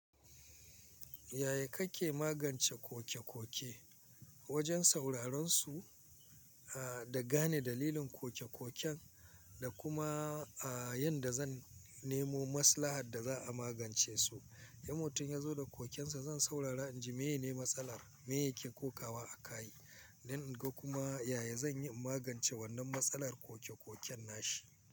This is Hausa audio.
Yaya kake magance kokekoke? Wajen sauraron su, a, da gane dalilin kokekoken, da kuma, a, yadda zan nemo maslaha da za a magance su. In mutun ya zo da kokensa, zan saurara in ji meye ne matsalar, me yake kokawa a kai. Nan in ga kuma yaya zan iya magance wannan matsalar kokekoken nashi.